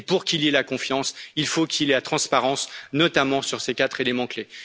Et pour qu'il y ait la confiance, il faut qu'il y ait la transparence, notamment sur ces quatre éléments clés.